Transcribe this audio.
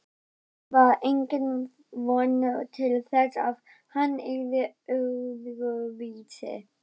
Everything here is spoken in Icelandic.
Kannske var engin von til þess að hann yrði öðruvísi